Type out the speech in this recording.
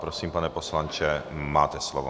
Prosím, pane poslanče, máte slovo.